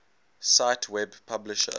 cite web publisher